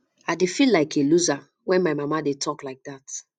i dey feel like a loser wen my mama dey talk like dat